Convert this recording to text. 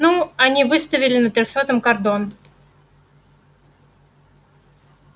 ну они выставили на трёхсотом кордон